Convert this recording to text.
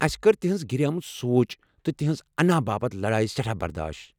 اَسہِ کٔر تہنٛز گریمٕژ سونٛچ تہٕ تہنٛزٕ انا باپت لڈایہ سٮ۪ٹھاہ برداش۔